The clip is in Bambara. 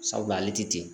Sabu ale tɛ ten